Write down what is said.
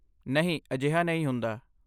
ਨਹੀਂ, ਅਜਿਹਾ ਨਹੀਂ ਹੁੰਦਾ।